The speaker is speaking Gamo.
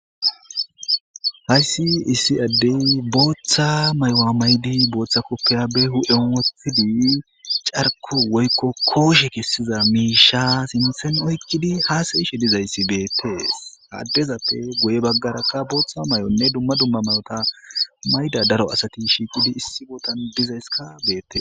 Hayssi issi addey booththa maywa maydi booththa koppeya be hu7eon wothidi carko woykko kooshe kessiza miisha sinthen oykkidi haasayishe dizayssi beette addezappe goye baggarakka booththa may7onne dumma dumma mayota mayda daro asati shiiqidi issi bootan dizaysska beette.